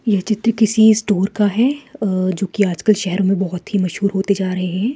यह चित्र किसी स्टोर का है अ जो कि आजकल शहर में बहोत ही मशहूर होते जा रहे हैं।